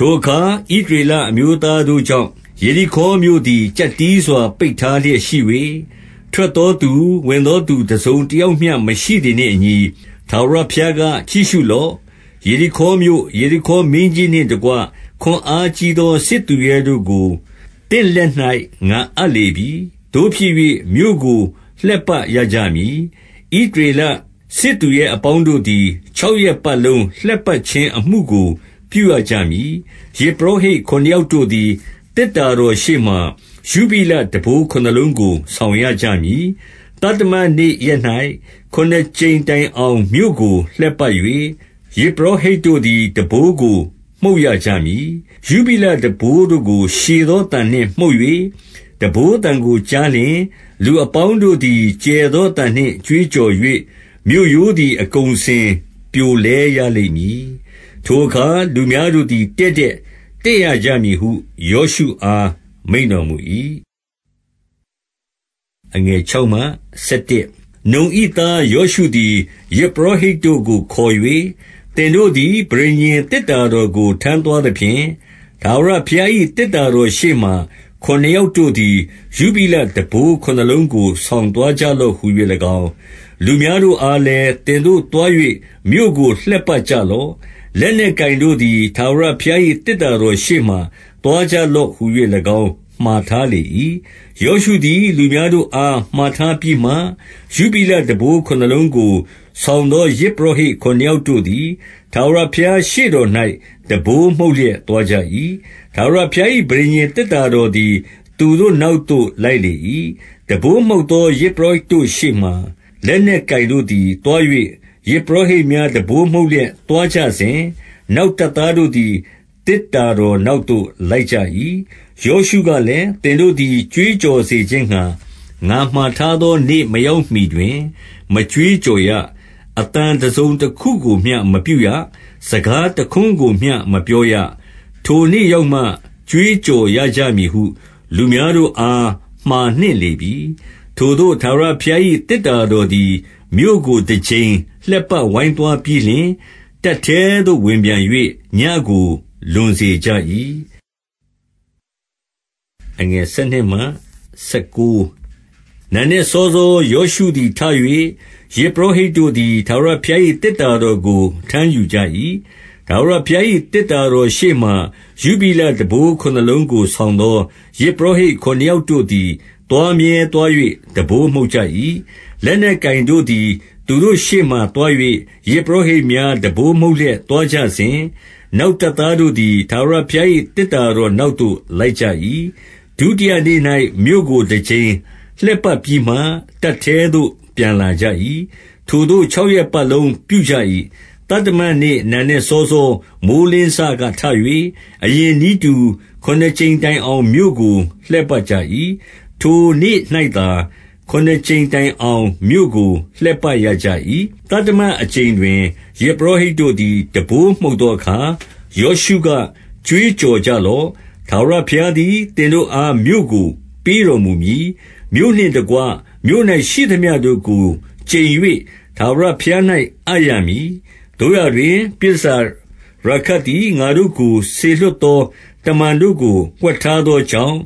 ထိုအခါ ဣသရေလအမျိုးသားတို့ကြောင့်၊ ယေ ရိခေါမြို့သည် ကျပ်တည်းစွာ ပိတ်ထားလျက် ရှိ၍၊ ထွက် သောသူ၊ ဝင်သောသူ တစုံတယောက်မျှမရှိသည်နှင့်အညီ၊ 2 ထာဝရဘုရားက၊ ကြည့်ရှုလော့။ ယေရိခေါမြို့၊ ယေရိခေါမင်းကြီးနှင့်တကွ ခွန်အားကြီးသော စစ်သူရဲတို့ ကို သင့်လက်၌ ငါအပ်လေပြီ။ 3 သို့ဖြစ်၍ မြို့ကိုလှည့်ပတ်ရကြမည်။ ဣသရေလ စစ်သူရဲအပေါင်းတို့သည် ခြောက်ရက်ပတ်လုံးလှည့်ပတ် ခြင်းအမှုကို ပြုရကြမည်။ 4 ယဇ်ပုရောဟိတ်ခုနစ်ယောက်တို့သည် သေတ္တာ တော်ရှေ့မှာ ယုဘိလတံပိုးခုနစ်လုံးကို ဆောင်ရကြမည်။ သတ္တမနေ့ရက်၌ ခုနစ်ကြိမ်တိုင်အောင် မြို့ကိုလှည့်ပတ် ၍ ယဇ်ပုရောဟိတ်တို့သည် တံပိုးကိုမှုတ်ရကြမည်။ 5 ယုဘိလတံပိုးတို့ကို ရှည်သောအသံနှင့် မှုတ်၍၊ တံပိုးသံကိုကြားလျှင် လူအပေါင်းတို့သည် ကျယ်သောအ သံနှင့် ကြွေးကြော်၍၊ မြို့ရိုးသည် အကုန်အစင် ပြိုလဲရလိမ့် မည်။ ထိုအခါ လူများတို့သည် တည့်တည့်တက်ရကြမည် ဟု ယောရှုအား မိန့်တော်မူ၏။ 6 နုန်၏သား ယောရှုသည် ယဇ်ပုရောဟိတ်တို့ကို ခေါ်၍၊ သင်တို့သည် ပဋိညာဉ် သေတ္တာတော်ကို ထမ်း သွားသဖြင့်၊ ထာဝရဘုရား၏ သေတ္တာတော်ရှေ့မှာ ခုနစ် ယောက်တို့သည် ယုဘိလတံပိုးခုနစ်လုံးကို ဆောင်သွား ကြလော့ဟူ၍၎င်း၊ 7 လူများတို့အားလည်း၊ သင်တို့သွား၍ မြို့ကိုလှည့် ပတ်ကြလော့။ လက်နက်ကိုင်တို့သည် ထာဝရဘုရား၏ သေတ္တာတော်ရှေ့မှာ သွားကြလော့ဟူ၍၎င်းမှာထားလေ ၏။ 8 ယောရှုသည် လူများတို့အား မှာထားပြီးမှ၊ ယု ဘိလတံပိုး ခုနစ်လုံးကို ဆောင်သော ယဇ်ပုရောဟိတ်ခု နစ်ယောက်တို့သည် ထာဝရဘုရားရှေ့တော်၌ တံပိုးမှုတ် လျက်သွားကြ၏။ ထာဝရဘုရား၏ ပဋိညာဉ်သေတ္တာ တော်သည် သူတို့နောက်သို့ လိုက်လေ၏။ 9 တံပိုးမှုတ်သော ယဇ်ပုရောဟိတ်တို့ရှေ့မှာ လက် နက်ကိုင်တို့သည် သွား၍၊ ယဇ်ပုရောဟိတ်များ တံပိုးမှုတ် လျက်သွားကြစဉ်၊ နောက်တပ်သားတို့သည် သေတ္တာ တော်နောက်သို့ လိုက်ကြ၏။ 10 ယောရှုကလည်း၊ သင်တို့သည် ကြွေးကြော်စေ ခြင်းငှါ ငါမှာထားသောနေ့မရောက်မှီတွင် မကြွေးကြော် ရ၊ အသံတစုံတခုကိုမျှ မပြုရ၊ စကားတခွန်းကိုမျှ မပြော ရ။ ထိုနေ့ရောက်မှ ကြွေးကြော်ရကြမည်ဟု လူများတို့အား မှာနှင့်လေပြီ။ 11 ထိုသို့ ထာဝရဘုရား၏ သေတ္တာတော်သည် မြို့ ကိုတကြိမ်လှည့်ပတ်ဝိုင်းသွားပြီးလျှင်၊ တပ်ထဲသို့ ဝင်ပြန်၍ ညဉ့်ကိုလွန်စေကြ၏။ 12 နံနက်စောစော ယောရှုသည်ထ၍ ယဇ်ပုရော ဟိတ်တို့သည် ထာဝရဘုရား၏ သေတ္တာတော်ကို ထမ်းယူ ကြ၏။ 13 ထာဝရဘုရား၏ သေတ္တာတော်ရှေ့မှာ ယုဘိလ တံပိုးခုနစ်လုံးကို ဆောင်သော ယဇ်ပုရောဟိတ် ခုနှစ် ယောက်တို့သည် သွားမြဲသွား၍ တံပိုးမှုတ်ကြ၏။ လက် နက်ကိုင်တို့သည် သူတို့ရှေ့မှာသွား၍ ယဇ်ပုရောဟိတ် များ တံပိုးမှုတ်လျက် သွားကြစဉ်၊ နောက်တပ်သားတို့ သည် ထာဝရဘုရား၏ သေတ္တာတော်နောက်သို့ လိုက်ကြ ၏။ 14 ဒုတိယနေ့၌ မြို့ကိုတကြိမ်လှည့်ပတ်ပြီးမှ တပ် ထဲသို့ ပြန်လာကြ၏။ ထိုသို့ ခြောက်ရက်ပတ်လုံး ပြုကြ၏။ 15 သတ္တမနေ့ နံနက်စောစော မိုဃ်းလင်းစက ထ၍ အရင်နည်းတူ၊ ခုနစ်ကြိမ်တိုင်အောင် မြို့ကို လှည့်ပတ်ကြ ၏။ ထိုနေ့၌သာ ခုနစ်ကြိမ်တိုင်အောင် မြို့ကို လှည့်ပတ်ရ ကြ၏။ 16 သတ္တမအကြိမ်တွင် ယဇ်ပုရောဟိတ်တို့သည် တံပိုးမှုတ်သောအခါ၊ ယောရှုက၊ ကြွေးကြော်ကြလော့။ ထာဝရဘုရားသည် သင်တို့အား မြို့ကို ပေးတော်မူမည်။ 17 မြို့နှင့်တကွ မြို့၌ရှိသမျှတို့ကို ကျိန်၍ ထာဝရ ဘုရား၌ အပ်ရမည်။ သို့ရာတွင် ပြည်တန်ဆာရာခပ်သည် ငါတို့စေလွှတ်သော တမန်တို့ကို ဝှက်ထားသောကြောင့်၊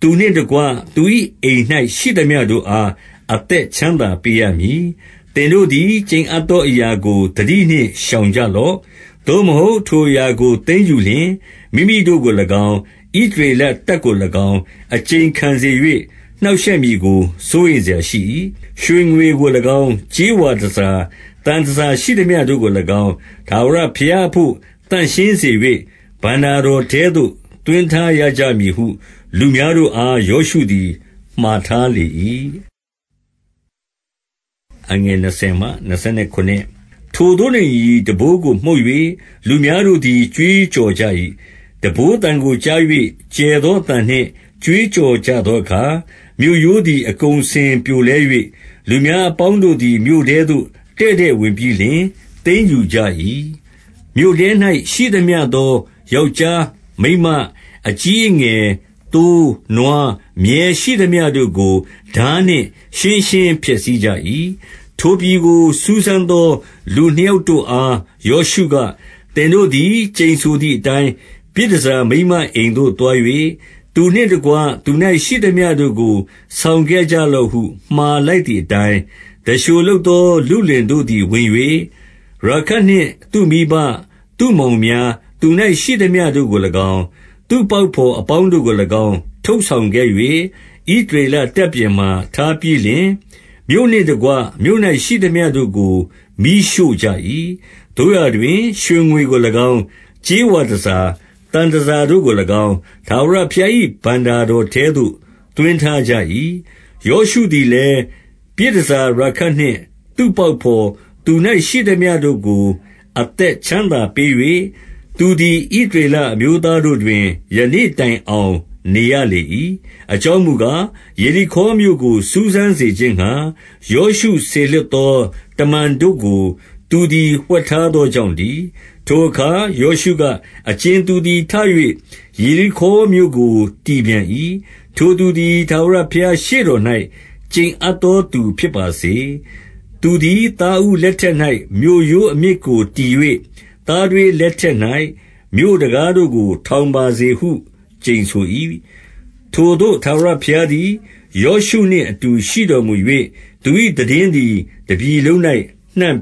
သူနှင့်တကွ သူ၏အိမ်၌ ရှိသမျှတို့အား အသက်ချမ်းသာ ပေးရမည်။ 18 သင်တို့သည် ကျိန်အပ်သောအရာကို သတိနှင့် ရှောင်ကြလော့။ သို့မဟုတ် ထိုအရာကို သိမ်းယူလျှင် မိမိ တို့ကို၎င်း၊ ဣသရေလတပ်ကို၎င်း အကျိန်ခံစေ၍၊ နှောင့် ရှက်မည်ကို စိုးရိမ်စရာရှိ၏။ 19 ရွှေငွေကို၎င်း၊ ကြေးဝါတန်ဆာ၊ သံတန်ဆာရှိ သမျှတို့ကို၎င်း၊ ထာဝရဘုရားအဘို့ သန့်ရှင်းစေ၍၊ ဘဏ္ဍာတော်ထဲသို့ သွင်းထားရကြမည်ဟု လူများတို့အား ယောရှုသည် မှာထားလေ၏။ 20 ထိုသို့နှင့်အညီ တံပိုးကိုမှုတ်၍၊ လူများတို့သည် ကြွေးကြော်ကြ၏။ တံပိုးသံကို ကြား၍ ကျယ်သောအသံ နှင့် ကြွေးကြော်ကြသောအခါ၊ မြို့ရိုးသည် အကုန်အစင် ပြိုလဲ၍၊ လူများအပေါင်းတို့သည် မြို့ထဲသို့ တည့်တည့်ဝင် ပြီးလျှင် သိမ်းယူကြ၏။ 21 မြို့ထဲ၌ ရှိသမျှသော ယောက်ျား၊ မိန်းမ၊ အကြီး အငယ်၊ သိုး၊ နွား၊ မြည်းရှိသမျှတို့ကို ထားနှင့် ရှင်းရှင်းဖျက် ဆီးကြ၏။ 22 ထိုပြည်ကို စူးစမ်းသော လူနှစ်ယောက်တို့အား ယောရှုက၊ သင်တို့သည် ကျိန်ဆိုသည်အတိုင်း၊ ပြည်တန် ဆာမိန်းမအိမ်သို့ သွား၍၊ သူနှင့်တကွ သူ၌ရှိသမျှတို့ကို ဆောင်ခဲ့ကြလော့ဟု မှာလိုက်သည်အတိုင်း၊ 23 တံလျှိုလုပ်သောလုလင်တို့သည် ဝင်၍၊ ရာခပ် နှင့်သူ့မိဘ၊ သူ့မောင်များ၊ သူ၌ရှိသမျှတို့ကို၎င်း၊ သူ့ပေါက် ဘော်အပေါင်းတို့ကို၎င်း ထုတ်ဆောင်ခဲ့၍၊ ဣသရေလတပ် ပြင်မှာ ထားပြီးလျှင်၊ 24 မြို့နှင့်တကွ မြို့၌ရှိသမျှတို့ကို မီးရှို့ကြ၏။ သို့ရာ တွင် ရွှေငွေကို၎င်း၊ ကြေးဝါတန်ဆာ၊ သံတန်ဆာတို့ကို၎င်း၊ ထာဝရဘုရား၏ ဘဏ္ဍာတော်ထဲသို့ သွင်းထားကြ၏။ 25 ယောရှုသည်လည်း၊ ပြည်တန်ဆာ ရာခပ်နှင့် သူ့ပေါက်ဘော်၊ သူ၌ရှိသမျှတို့ကို အသက်ချမ်းသာပေး၍၊ သူသည် ဣသရေလအမျိုးသားတို့တွင် ယနေ့တိုင်အောင် နေရလေ၏။ အကြောင်းမူကား၊ ယေရိခေါမြို့ကို စူးစမ်း စေခြင်းငှါ၊ ယောရှုစေလွှတ်သော တမန်တို့ကို သူသည် ဝှက်ထားသောကြောင့်တည်း။ 26 ထိုအခါ ယောရှုက၊ အကြင်သူသည် ထ၍ ယေရိခေါမြို့ကို တည်ပြန်၏။ ထိုသူသည် ထာဝရဘုရား ရှေ့တော်၌ ကျိန်အပ်သောသူဖြစ်ပါစေ။ သူသည် သားဦး လက်ထက်၌ မြို့ရိုးအမြစ်ကိုတည်၍ သားထွေးလက်ထက် ၌ မြို့တံခါးတို့ကို ထောင်ပါစေဟု ကျိန်ဆို၏။ 27 ထိုသို့ ထာဝရဘုရားသည် ယောရှုနှင့်အတူ ရှိတော်မူ၍၊ သူ၏ သိတင်းသည် တပြည်လုံး၌ နှံ့ပ